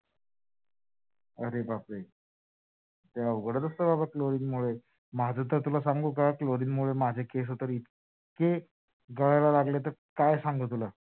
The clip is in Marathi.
अरे बापरे, ते अवघडच असत बाबा chlorine मुळे माझ तर तुला सांगू का? chlorine मुळे केस तर इतके गळायला लागले काय सांगू तुला,